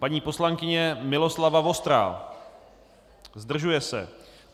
Paní poslankyně Miloslava Vostrá: Zdržuje se.